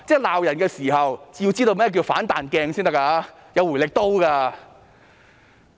罵人的時候，要知道甚麼是"反彈鏡"、"回力刀"。